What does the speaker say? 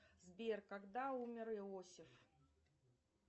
сбер когда умер иосиф